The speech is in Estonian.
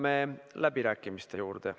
Nüüd jõuame läbirääkimiste juurde.